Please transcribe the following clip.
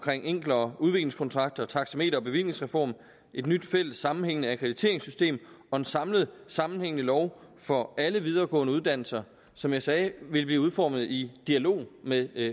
enklere udviklingskontrakter taxameter og bevillingsreform et nyt fælles sammenhængende akkrediteringssystem og en samlet sammenhængende lov for alle videregående uddannelser som jeg sagde vil blive udformet i dialog med